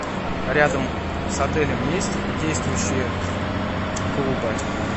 рядом с отелем есть действующие клубы